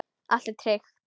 Allt er tryggt.